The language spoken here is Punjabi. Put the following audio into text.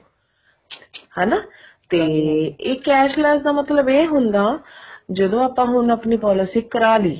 ਹਨਾ ਤੇ cashless ਦਾ ਮਤਲਬ ਇਹ ਹੁੰਦਾ ਜਦੋਂ ਆਪਾਂ ਹੁਣ policy ਕਰਾਲੀ